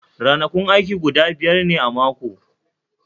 Ranakun aiki guda biyar ne a mako